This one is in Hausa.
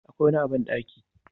Akwai wani a bandaki